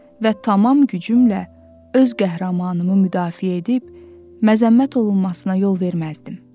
Və tamam gücümlə öz qəhrəmanımı müdafiə edib, məzəmmət olunmasına yol verməzdim.